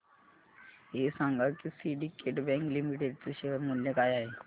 हे सांगा की सिंडीकेट बँक लिमिटेड चे शेअर मूल्य काय आहे